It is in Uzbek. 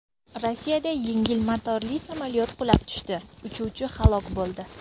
Rossiyada yengil motorli samolyot qulab tushdi, uchuvchi halok bo‘ldi.